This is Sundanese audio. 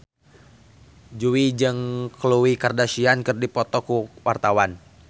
Jui jeung Khloe Kardashian keur dipoto ku wartawan